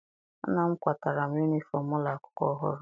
Nna m kwatara m yunifọm ụlọ akwụkwọ ọhụrụ.